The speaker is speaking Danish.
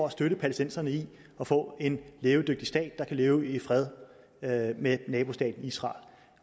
at støtte palæstinenserne i at få en levedygtig stat der kan leve i fred med nabostaten israel